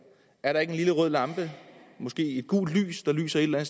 er der ikke en lille rød lampe måske et gult lys der lyser et eller